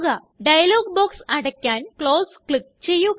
dialogue box അടയ്ക്കാന് close click ചെയ്യുക